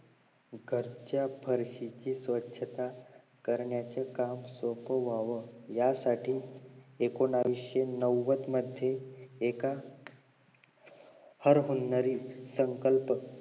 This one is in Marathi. घरच्या फार्शीची स्वछता करण्याचे काम सोपं व्हावं यासाठी एकोणीशी नव्वद मध्ये एका हर पारिवारिक संकल्प